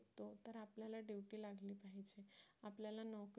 आपल्याला नोकरी